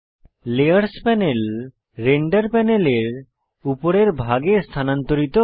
layers panel render প্যানেলের উপরের ভাগে স্থানান্তরিত হয়